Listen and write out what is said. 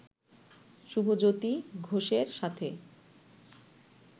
শুভজ্যোতি ঘোষের সাথে